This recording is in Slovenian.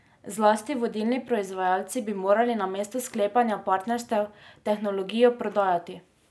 Zlasti vodilni proizvajalci bi morali namesto sklepanja partnerstev tehnologijo prodajati.